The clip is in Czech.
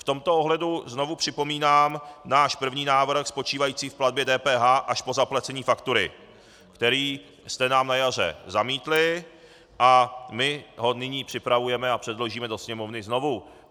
V tomto ohledu znovu připomínám náš první návrh spočívající v platbě DPH až po zaplacení faktury, který jste nám na jaře zamítli, a my ho nyní připravujeme a předložíme do Sněmovny znovu.